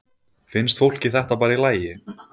Finnst fólki þetta bara í lagi?